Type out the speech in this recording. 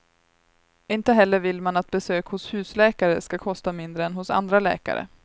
Inte heller vill man att besök hos husläkare ska kosta mindre än hos andra läkare.